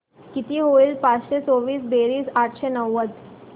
किती होईल पाचशे चोवीस बेरीज आठशे नव्वद